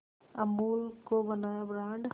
अमूल को बनाया ब्रांड